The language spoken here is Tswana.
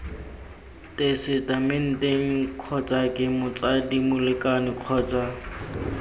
tesetamenteng kgotsake motsadi molekane kgotsa